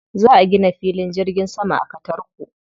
Za a gina filin jirgin sama a Katarko.